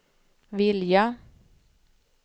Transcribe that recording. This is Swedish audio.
vilja